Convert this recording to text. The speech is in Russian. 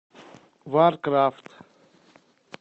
варкрафт